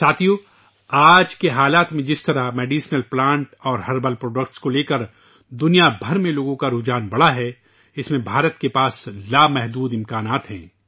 دوستو ، آج کے حالات میں جس طرح پوری دنیا میں دواؤں کے پودوں اور جڑی بوٹیوں کی پیداوار میں لوگوں کی دلچسپی بڑھی ہے ، اس میں ہندوستان میں بے پناہ صلاحیتیں ہیں